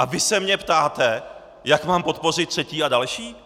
A vy se mě ptáte, jak mám podpořit třetí a další?